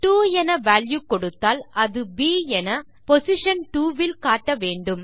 2 என வால்யூ கொடுத்தால் அது ப் என பொசிஷன் 2 இல் காட்ட வேண்டும்